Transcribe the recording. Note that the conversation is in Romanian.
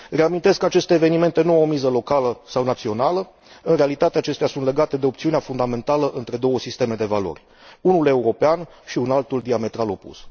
Reamintesc că aceste evenimente nu au miză locală sau națională, în realitate acestea sunt legate de opțiunea fundamentală între două sisteme de valori unul european și un altul diametral opus.